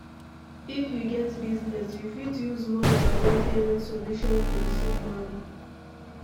If you get business, you fit use more than one payment solution to recieve money